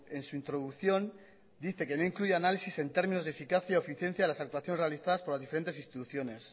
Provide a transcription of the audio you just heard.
en su introducción dice que no incluye análisis en términos de eficacia o eficiencia en las actuaciones realizadas por las diferentes instituciones